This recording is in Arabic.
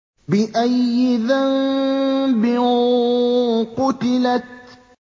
بِأَيِّ ذَنبٍ قُتِلَتْ